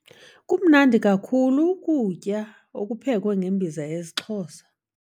Kumnandi kakhulu ukuutya okuphekwe ngeembiza zesiXhosa.